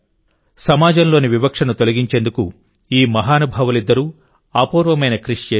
సమాజంలోని వివక్షను తొలగించేందుకు ఈ మహానుభావులిద్దరూ అపూర్వమైన కృషి చేశారు